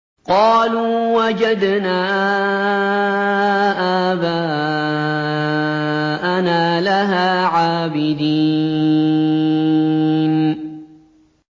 قَالُوا وَجَدْنَا آبَاءَنَا لَهَا عَابِدِينَ